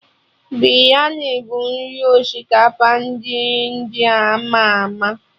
Biryani bụ nri osikapa ndị India ama ama